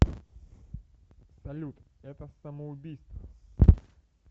салют это самоубийство